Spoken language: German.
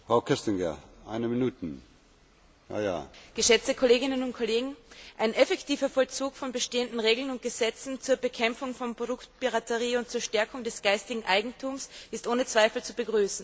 Herr Präsident, geschätzte Kolleginnen und Kollegen! Ein effektiver Vollzug von bestehenden Regeln und Gesetzen zur Bekämpfung von Produktpiraterie und zur Stärkung des geistigen Eigentums ist ohne Zweifel zu begrüßen.